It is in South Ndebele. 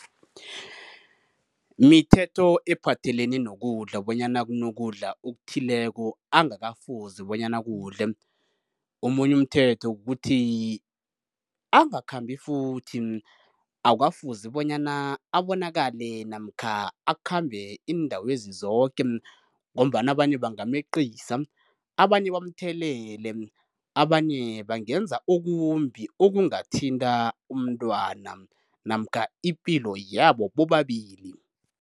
Mithetho ephathelene nokudla bonyana kunokudla okuthileko angakafuzi bonyana akudle, omunye umthetho kukuthi angakhambi futhi, awukafuzi bonyana abonakale namkha akhambe iindawezi zoke, ngombana abanye bangameqisa, abanye bamthelele, abanye bangenza okumbi okungathinta umtwana namkha ipilo yabo bobabili.